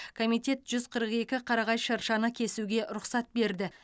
комитет жүз қырық екі қарағай шыршаны кесуге рұқсат берді